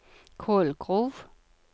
Kolgrov